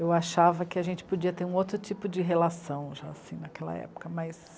Eu achava que a gente podia ter um outro tipo de relação já assim naquela época, mas...